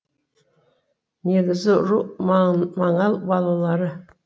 негізгі ру маңал балалары